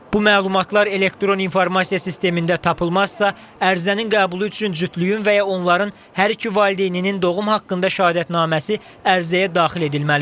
Bu məlumatlar elektron informasiya sistemində tapılmazsa, ərizənin qəbulu üçün cütlüyün və ya onların hər iki valideyninin doğum haqqında şəhadətnaməsi ərizəyə daxil edilməlidir.